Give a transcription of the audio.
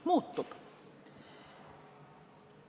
– muutub.